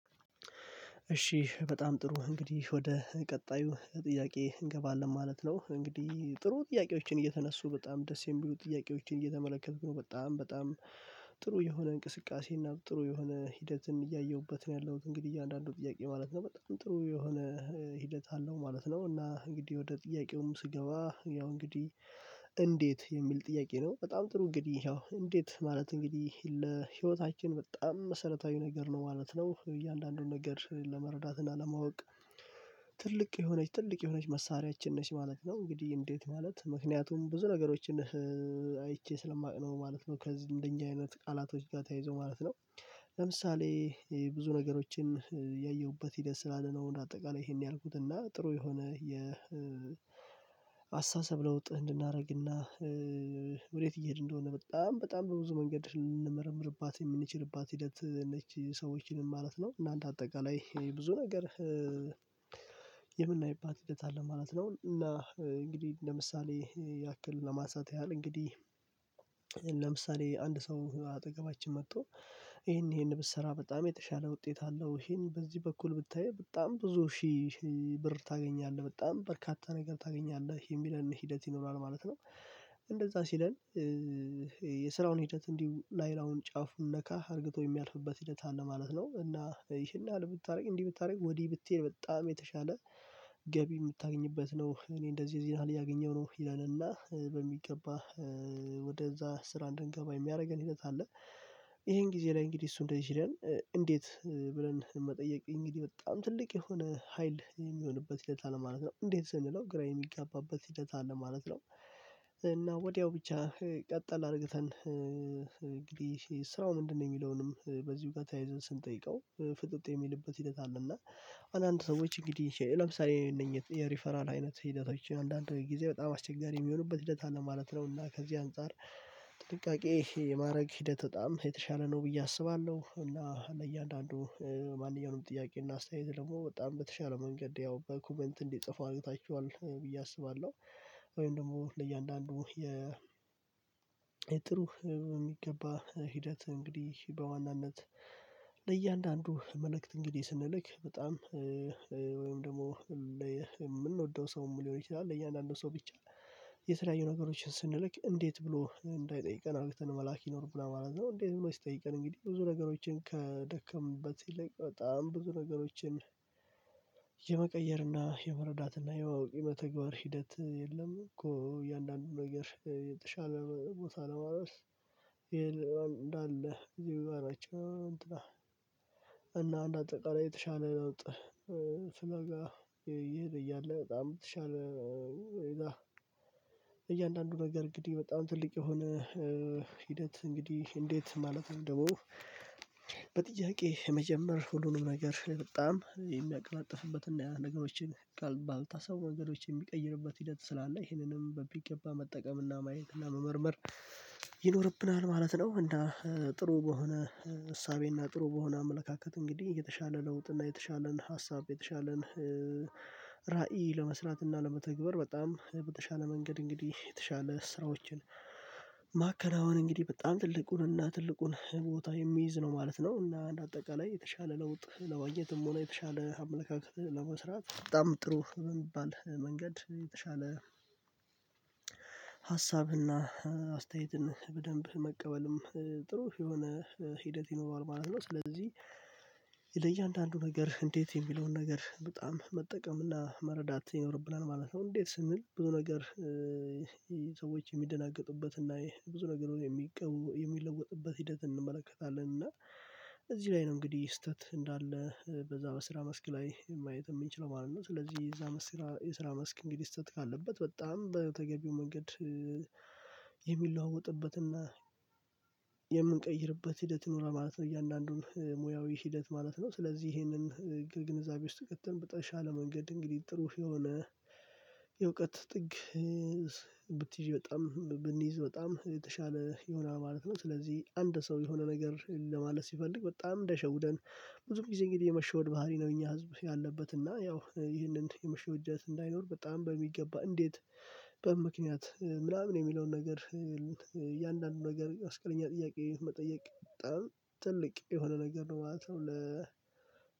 እሺ በጣም ጥሩ እንግዲህ ወደ ቀጣዩ ጥያቄ እንገባለን ማለት ነው። እንግዲህ ጥሩ ጥያቄዎችን እየተነሱ በጣም ደስ የሚሉ ጥያቄዎችን እየተመለከትኩ ነው። በጣም በጣም ጥሩ የሆነ እንቅስቃሴ እና ጥሩ የሆነ ሂደት እያየሁበት ነው ያለሁት። እንግዲህ እያንዳንዱ ጥያቄ ማለት ነው በጣም ጥሩ የሆነ ሂደት አለው ማለት ነው። እና እንግዲህ ወደ ጥያቄውም ስገባ ያው እንግዲህ እንዴት የሚል ጥያቄ ነው። በጣም ጥሩ እንግዲህ ያው እንዴት ማለት እንግዲህ ለህይወታችን በጣም መሰረታዊ ነገር ነው ማለት ነው። እያንዳንዱን ነገር ለመረዳት እና ለማወቅ። ትልቅ የሆነች ትልቅ የሆነች መሳሪያችን ነች ማለት ነው። እንግዲህ እንዴት ማለት ምክንያቱም ብዙ ነገሮችን አይቼ ስለማውቅ ነው ማለት ነው። ከዚህ እንደኛ አይነት ቃላቶች ጋር ተያይዞ ማለት ነው። ለምሳሌ ብዙ ነገሮችን ያየሁበት ሂደት ስላለ ነው እንደአጠቃላይ ይሄን ያልኩትና ጥሩ የሆነ የአስተሳሰብ ለውጥ እንድናደርግና። ወዴት እየሄድን እንደሆነ በጣም በጣም በብዙ መንገድ ልንመረምርባት የምንችልባት ሂደት ነች። ሰዎችን ማለት ነው እና እንደ አጠቃላይ ብዙ ነገር የምናይባት ሂደት አለ ማለት ነው። እና እንግዲህ ለምሳሌ ያክል ለማንሳት ያህል እንግዲህ ለምሳሌ አንድ ሰው አጠገባችን መጥቶ። ይሄን ይሄን ብትሰራ በጣም የተሻለ ውጤት አለው ይሄን በዚህ በኩል ብታይ በጣም ብዙ ሺህ ብር ታገኛለህ በጣም በርካታ ነገር ታገኛለህ የሚለን ሂደት ይኖራል ማለት ነው። እንደዛ ሲለን። የስራውን ሂደት እንዲሁ ላይላዩን ጫፉን ነካ አርግቶ የሚያልፍበት ሂደት አለ ማለት ነው። እና ይሄን ያህል ብታደርግ እንዲህ ብታደርግ ወዲህ ብትሄድ በጣም የተሻለ ገቢ የምታገኝበት ነው። እኔ እንደዚህ ያህል እያገኘው ነው ይላልና በሚገባ ወደዛ ስራ እንድንገባ የሚያደርገን ሂደት አለ። ይሄን ጊዜ ላይ እንግዲህ እሱ እንደዚህ ሲለን። እንዴት ብለን መጠየቅ እንግዲህ በጣም ትልቅ የሆነ ሀይል የሚሆንበት ሂደት አለ ማለት ነው። እንዴት ስንለው ግራ የሚጋባበት ሂደት አለ ማለት ነው። እና ወዲያው ብቻ ቀጠል አርግተን እንግዲህ ስራው ምንድነው? የሚለውንም በዚህ ጋር ተያይዘን ስንጠይቀው ፍጥጥ የሚልበት ሂደት አለ እና። አንዳንድ ሰዎች እንግዲህ ለምሳሌ የነኝህ የሪፈራል አይነት ሂደቶችን አንዳንድ ጊዜ በጣም አስቸጋሪ የሚሆኑበት ሂደት አለ ማለት ነው። እና ከዚህ አንፃር። ጥንቃቄ የማድረግ ሂደት በጣም የተሻለ ነው ብዬ አስባለሁ። እና ለእያንዳንዱ ማንኛውንም ጥያቄ እና አስተያየት ደግሞ በጣም በተሻለ መንገድ ያው በኮመንት እንዲጽፉ አርግታችኋል ብዬ አስባለሁ። ወይም ደግሞ ለእያንዳንዱ የ የጥሩ የሚገባ ሂደት እንግዲህ በዋናነት ለእያንዳንዱ መልእክት እንግዲህ ስንልክ በጣም ወይም ደግሞ የምንወደው ሰውም ሊሆን ይችላል ለእያንዳንዱ ሰው ብቻ የተለያዩ ነገሮችን ስንልክ እንዴት ብሎ እንዳይጠይቀን አርግተን መላክ ይኖርብናል ማለት ነው። እንዴት ነው? ሲጠይቀን እንግዲህ ብዙ ነገሮችን ከደከምንበት ይልቅ በጣም ብዙ ነገሮችን የመቀየርና የመረዳትና የማወቅ የመተግበር ሂደት የለም። እኮ እያንዳንዱ ነገር የተሻለ ሞት አለማረስ ይሄን እንዳለ እንግዲህ። እና እና እንደአጠቃላይ የተሻለ ለውጥ። ፍለጋ እየሄደ እያለ በጣም የተሻለ እያንዳንዱ ነገር እንግዲህ በጣም ትልቅ የሆነ ሂደት እንግዲህ እንዴት ማለት ነው። ደግሞ በጥያቄ የመጀመር ሁሉንም ነገር በጣም የሚያቀላጥፍበትና ነገሮችን ቃል ባልታሰቡ ነገሮችን የሚቀይርበት ሂደት ስላለ ይህንንም በሚገባ መጠቀምና ማየትና መመርመር ይኖርብናል ማለት ነው። እና ጥሩ በሆነ እሳቤ እና ጥሩ በሆነ አመለካከት እንግዲህ የተሻለ ለውጥ እና የተሻለን ሀሳብ የተሻለን ራዕይ ለመስራት እና ለመተግበር በጣም በተሻለ መንገድ እንግዲህ የተሻለ ስራዎችን። ማከናወን እንግዲህ በጣም ትልቁንና ትልቁን ቦታ የሚይዝ ነው ማለት ነው። እና አንድ አጠቃላይ የተሻለ ለውጥ ለማግኘትም ሆነ የተሻለ አመለካከት ለመስራት በጣም ጥሩ የሚባል መንገድ የተሻለ ሀሳብና አስተያየትን በደንብ መቀበልም ጥሩ የሆነ ሂደት ይኖረዋል ማለት ነው። ስለዚህ ለእያንዳንዱ ነገር እንዴት የሚለውን ነገር በጣም መጠቀም እና መረዳት ይኖርብናል ማለት ነው። እንዴት ስንል ብዙ ነገር ሰዎች የሚደነግጡበት እና ብዙ ነገር የሚቀው የሚለወጥበት ሂደት እንመለከታለን እና። እዚህ ላይ ነው እንግዲህ ስህተት እንዳለ በዛ በስራ መስክ ላይ ማየት የምንችለው ማለት ነው። ስለዚህ የዛ መስክ የስራ መስክ እንግዲህ ስተት ካለበት በጣም በተገቢው መንገድ። የሚለዋወጥበትና የምንቀይርበት ሂደት ይኖራል ማለት ነው። እያንዳንዱን ሙያዊ ሂደት ማለት ነው። ስለዚህ ይሄንን ግን ግንዛቤ ውስጥ ትተን ብትል ሻለ መንገድ እንግዲህ ጥሩ የሆነ። የእውቀት ጥግ ብትይዥ በጣም ብንይዝ በጣም የተሻለ ይሆናል ማለት ነው። ስለዚህ አንድ ሰው የሆነ ነገር ለማለት ሲፈልግ በጣም እንዳይሸውደን ብዙም ጊዜ እንግዲህ የመሸወድ ባህሪ ነው። እኛ ህዝብ ያለበት እና ያው ይህንን የመሸወድ እጅነት እንዳይኖር በጣም በሚገባ እንዴት በምን ምክንያት ምናምን የሚለውን ነገር እያንዳንዱን ነገር መስቀለኛ ጥያቄ መጠየቅ በጣም ትልቅ የሆነ ነገር ነው ማለት ነው።